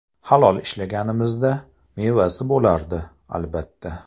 Halol ishlaganimizda, mevasi bo‘lardi, albatta.